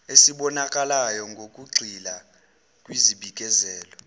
esibonakalayo ngokugxila kwizibikezelo